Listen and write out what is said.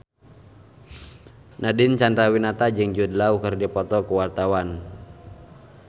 Nadine Chandrawinata jeung Jude Law keur dipoto ku wartawan